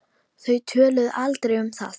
Þau töluðu aldrei um það.